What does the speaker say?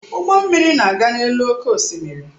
Ụgbọ mmiri na-aga n'elu oké osimiri.